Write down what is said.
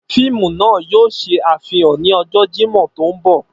Fiimu naa yoo ṣe afihan ni ọjọ Jimọ to nbọ.